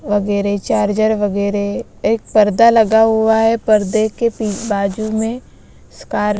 वगैरे चार्जर वगैरे एक पर्दा लगा हुआ है परदे के पी बाजू में स्कार--